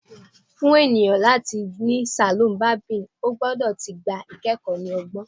Fun eniyan lati ni saloon barbing, o gbọdọ ti gba ikẹkọ ni ọgbọn